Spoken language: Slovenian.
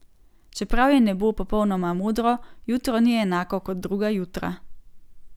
Čeprav je nebo popolnoma modro, jutro ni enako kot druga jutra.